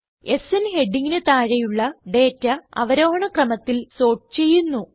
സ്ന് ഹെഡിംഗിന് താഴെയുളള ഡേറ്റ അവരോഹണ ക്രമത്തിൽ സോർട്ട് ചെയ്യുന്നു